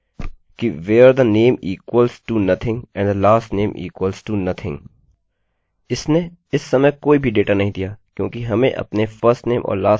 इसने इस समय कोई भी डेटा नहीं दिया क्योंकि हमें अपने firstname और lastname में असली आदमियों के नाम मिले हैं